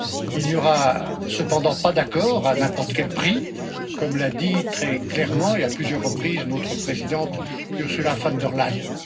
Il n'y aura cependant pas d'accord à n'importe quel prix, comme l'a dit très clairement et à plusieurs reprises notre présidente Ursula von der Leyen.